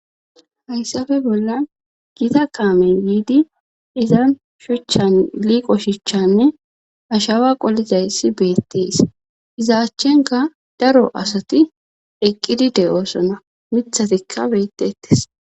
hayssafe bollan giita kaamey yiidi izan shuchchan liiqo shichchanne ashawa qolizayssi beetties izaachchenka daro asati eqqidi de7oosona mithatikka beettettes